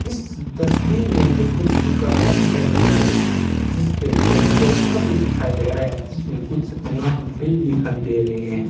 इस तस्वीर में मुझे कुछ दुकाने दिखाई दे रही है जिसपे एक पोस्टर भी दिखाई दे रहा है जिसमें कुछ नाम भी दिखाई दे रहे हैं।